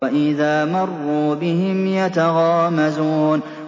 وَإِذَا مَرُّوا بِهِمْ يَتَغَامَزُونَ